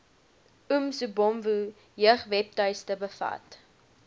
umsobomvu jeugwebtuiste bevat